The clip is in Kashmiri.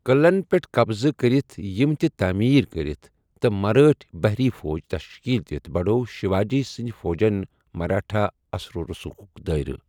قٕعلَن پیٹھ قبضہٕ كرِتھ یِم تہٕ تٔعمیٖر کرِتھ ، تہٕ مرٲٹھ بحری فوج تشکیل دِتھ بڑھوو شیواجی سندِ فوجن مرٲٹھا اثر و رسوٗخٗك دٲیرٕ ۔